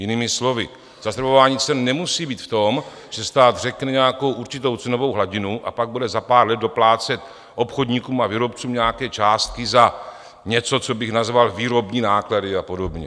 Jinými slovy, zastropování cen nemusí být v tom, že stát řekne nějakou určitou cenovou hladinu a pak bude za pár let doplácet obchodníkům a výrobcům nějaké částky za něco, co bych nazval výrobní náklady a podobně.